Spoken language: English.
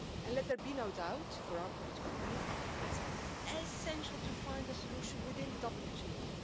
Let there be no doubt for our political group it's essential to find a solution within the WTO.